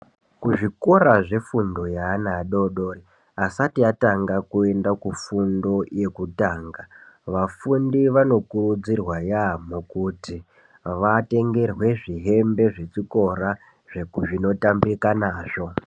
Kuzvikora zvefundo yeana adodori ,aasati atanga kuenda kufundo yekutanga, vafundi vanokurudzirwa yaampho kuti vatengerwe zvihembe zvechikora zveku zvinotambika nazvo.